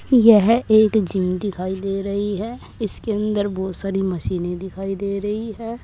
यह एक जिम दिखाई दे रही है इसके अंदर बहुत सारी मशीनें दिखाई दे रही है।